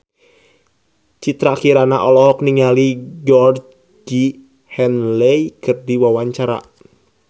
Citra Kirana olohok ningali Georgie Henley keur diwawancara